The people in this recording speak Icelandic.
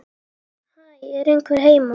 Hæ, er einhver heima?